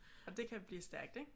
Og det kan blive stærkt ik?